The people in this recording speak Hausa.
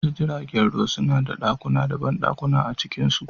Wasu jiragen ruwa suna da ɗakuna da banɗakuna a cikinsu.